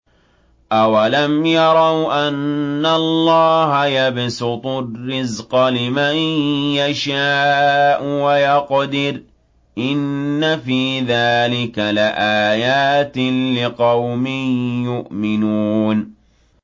أَوَلَمْ يَرَوْا أَنَّ اللَّهَ يَبْسُطُ الرِّزْقَ لِمَن يَشَاءُ وَيَقْدِرُ ۚ إِنَّ فِي ذَٰلِكَ لَآيَاتٍ لِّقَوْمٍ يُؤْمِنُونَ